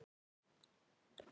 Það er hennar sorg.